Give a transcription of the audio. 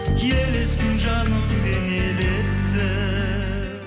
елессің жаным сен елессің